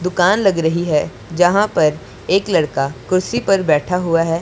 दुकान लग रही है जहां पर एक लड़का कुर्सी पर बैठा हुआ है।